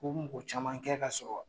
U bi mɔgɔ caman kɛ ka sɔrɔ